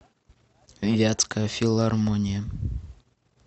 вятская филармония